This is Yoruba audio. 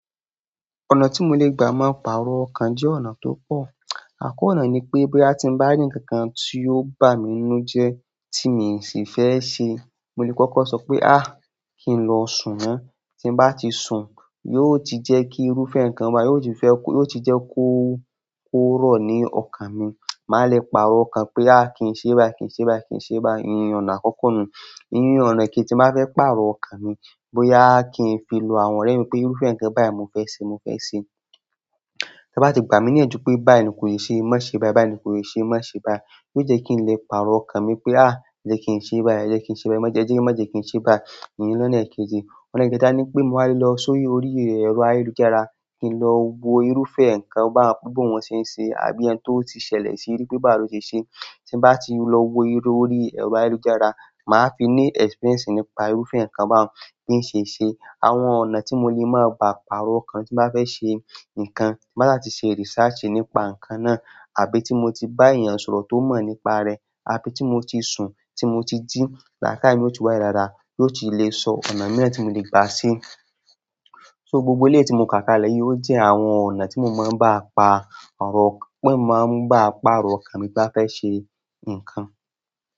Ọ̀nà tí mo lè gbà máa pàrọ̀ ọkàn jẹ́ ọ̀nà tó pọ̀. Àkọ́kọ́ ọ̀nà ni pé bóyá tí mo bá rí ǹkan kan tí ó bàmí nínú jẹ́ tí mi n sì fẹ́ se kí n lọ sùn ná tí bá ti sùn, yóò ti jẹ́ kí irúfẹ́ ǹkan bá, yóò ti jẹ́ kó, kó rọ̀ ní ọkàn mi. Màá lè pàrọ̀ ọkàn pé "a! Kí n ṣe báyìí, kí n ṣe báyìí, kí n ṣe báyìí" ìyẹn ọ̀nà àkọ́kọ́ nù. Ìyẹn ọ̀nà kejì tí máa fẹ́ pàrọ̀ ọkàn mi, bóyá kí n fi lo àwọn ọ̀rẹ́ mi pé irúfẹ́ ǹkan báyìí mo fẹ́ ṣe, mo fẹ́ ṣe. Ti wọ́n bá ti gbà mí níyẹn ju pé báyìí ni kò yẹ ṣe, má ṣe báyìí, báyìí ni kò yẹ ṣe, má ṣe báyìí. Yóò jẹ́ kí n lè pàrọ̀ ọkàn mi pé "a! Jẹ́ kí n ṣe báyìí, jẹ́ kí n ṣe báyìí, má jẹ́ kí n ṣe báyìí". Ìyẹn ni ọ̀nà kejì. Ọ̀nà kẹta ni pé màá lọ sórí orí ẹ̀rọ ayélujára, kí n lọ wo irúfẹ́ ǹkan báyẹn pé bóo ná ṣe ṣe àbí ẹ́ni tó ti ṣẹlẹ̀ síi rí pé bá lọ ṣe ṣe. Tí bá ti lọ wo irú orí ẹ̀rọ ayélujára, màá fi ní experience nípa irúfẹ́ ǹkan báhun bí ṣe ṣe. Àwọn ọ̀nà tí mo lè má bá pàrọ̀ ọkàn tí má fẹ́ ṣe ǹkan, tí n bá ti ṣe research nípa ǹkan náà, àbí tí mo ti bá èèyàn sọ̀rọ̀ tó mọ̀ nípa rẹ̀, àbí tí mo ti sùn tí mo ti jí làkáyèè yóò wálè dáadáa, yóò ti lè sọ ọ̀nà mẹ́ta tí mo lè gbà sí i. So gbogbo eléyìí tí mo kàkalẹ̀ yìí ó jẹ́ àwọn ọ̀nà tí mo máa ń bá pàrọ̀ ọkàn, pé n máa ń bá pàrọ̀ ọkàn mi bá fẹ́ ṣe ǹkan.